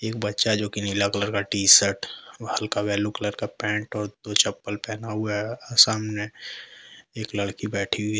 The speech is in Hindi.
एक बच्चा जो के लिए येलो कलर का टी सर्ट और हल्का येलो कलर का पेंट और दो चप्पल पहना हुआ है सामने एक लड़की बैठी हुई --